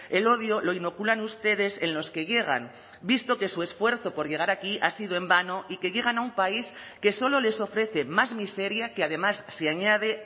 el odio lo inoculan ustedes en los que llegan visto que su esfuerzo por llegar aquí ha sido en vano y que llegan a un país que solo les ofrece más miseria que además se añade